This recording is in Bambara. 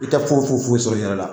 I tɛ foyi foyi foyi sɔrɔ i yɛrɛ la